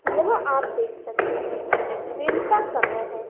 यह आप देख सकते हैं दिन का समय है।